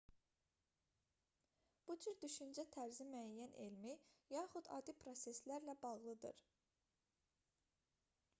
bu cür düşüncə tərzi müəyyən elmi yaxud adi proseslərlə bağlıdır